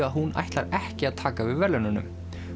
að hún ætlar ekki að taka við verðlaununum